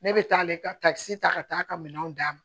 Ne bɛ taa ale ka takisi ta ka taa ka minɛnw d'a ma